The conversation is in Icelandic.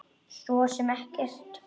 Svo sem ekkert.